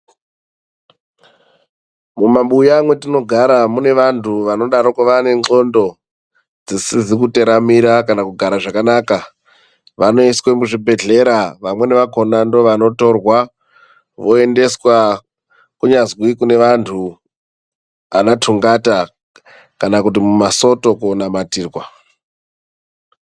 Mumabuya mwetinogara mune vantu vanodaroko vane ndxondo dzisizi kuteramira kana kugara zvakanaka. Vanoiswe muzvibhedhlera, vamweni vakhona ndovanotorwa voendeswa kunyazwi kune vantu ana tungata kana kuti mumasoto konamatirwa .